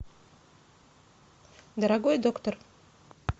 дорогой доктор